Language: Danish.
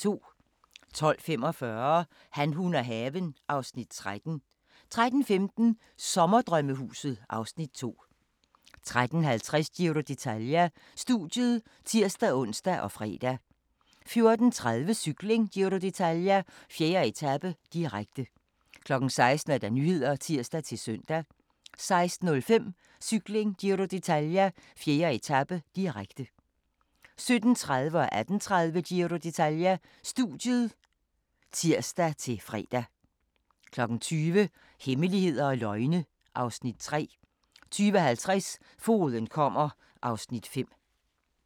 12:45: Han, hun og haven (Afs. 13) 13:15: Sommerdrømmehuset (Afs. 2) 13:50: Giro d'Italia: Studiet (tir-ons og fre) 14:30: Cykling: Giro d'Italia - 4. etape, direkte 16:00: Nyhederne (tir-søn) 16:05: Cykling: Giro d'Italia - 4. etape, direkte 17:30: Giro d'Italia: Studiet (tir-søn) 18:30: Giro d'Italia: Studiet (tir-fre) 20:00: Hemmeligheder og løgne (Afs. 3) 20:50: Fogeden kommer (Afs. 5)